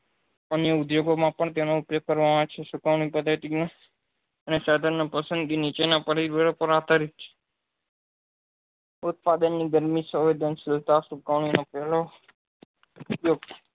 અને ઉદ્યોગો માં પણ તેનો ઉપયોગ કરવા માં આવે છે શુકાનું પદાર્થ તરીકે અને સાધન નાં પસંદગી નીચેના ઉત્પાદન ની બન્ને સંવેદનશીલતા સુકવણી નો ઉપયોગ